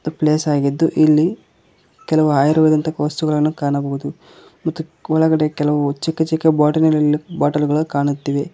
Place ಆಗಿದ್ದು ಇಲ್ಲಿ ಕೆಲವು ಆಯುರ್ವೇದಿಕ್ ವಸ್ತುಗಳನ್ನು ಕಾಣಬಹುದು ಒಳಗಡೆ ಕೆಲವು ಚಿಕ್ಕ ಚಿಕ್ಕ ಬಾಟಲಿ ನಲ್ಲಿ ಬಾಟಲು ಗಳು ಕಾಣುತ್ತಿವೆ.